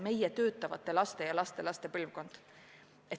Praegu töötavate inimeste laste ja lastelaste põlvkonnad on palju väiksemad.